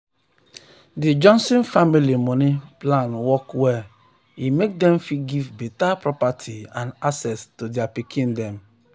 di johnson family money plan work well e make dem fit give better property and assets to their pikins dem.